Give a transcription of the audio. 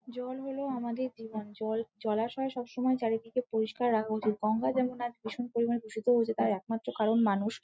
জল হলো আমাদের জীবন জল জলাশয় সব সময় চারিদিকে পরিষ্কার রাখা উচিত গঙ্গা যেমন আজ ভীষণ পরিমাণে দূষিত হচ্ছে তার একমাত্র কারণ মানুষ ।